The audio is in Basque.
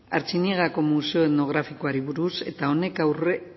artziniegako museo etnografikoari buruz eta honek